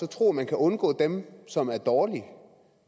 tro at man kan undgå dem som er dårlige